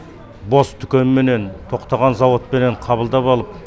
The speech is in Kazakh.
бос дүкенменен тоқтаған зауытпенен қабылдап алып